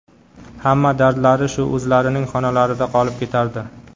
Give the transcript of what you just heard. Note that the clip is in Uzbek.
Hamma dardlari shu o‘zlarining xonalarida qolib ketardi.